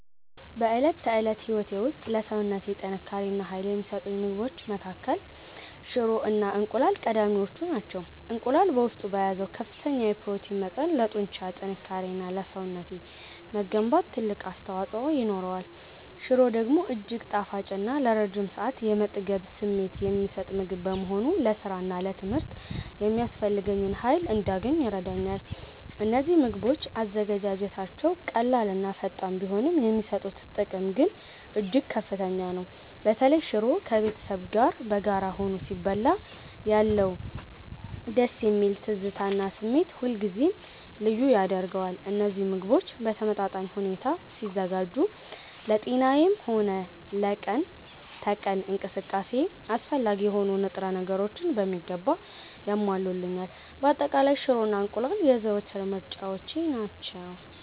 በዕለት ተዕለት ሕይወቴ ውስጥ ለሰውነቴ ጥንካሬ እና ኃይል ከሚሰጡኝ ምግቦች መካከል ሽሮ እና እንቁላል ቀዳሚዎቹ ናቸው። እንቁላል በውስጡ በያዘው ከፍተኛ የፕሮቲን መጠን ለጡንቻ ጥንካሬ እና ለሰውነቴ መገንባት ትልቅ አስተዋፅኦ ይኖረዋል። ሽሮ ደግሞ እጅግ ጣፋጭ እና ለረጅም ሰዓት የመጥገብ ስሜት የሚሰጥ ምግብ በመሆኑ ለሥራና ለትምህርት የሚያስፈልገኝን ኃይል እንዳገኝ ይረዳኛል። እነዚህ ምግቦች አዘገጃጀታቸው ቀላልና ፈጣን ቢሆንም፣ የሚሰጡት ጥቅም ግን እጅግ ከፍተኛ ነው። በተለይ ሽሮ ከቤተሰብ ጋር በጋራ ሆኖ ሲበላ ያለው ደስ የሚል ትዝታ እና ስሜት ሁልጊዜም ልዩ ያደርገዋል። እነዚህ ምግቦች በተመጣጣኝ ሁኔታ ሲዘጋጁ ለጤናዬም ሆነ ለቀን ተቀን እንቅስቃሴዬ አስፈላጊ የሆኑ ንጥረ ነገሮችን በሚገባ ያሟሉልኛል። በአጠቃላይ፣ ሽሮ እና እንቁላል የዘወትር ምርጫዎቼ ናቸው።